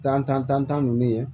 Kan tan ninnu ye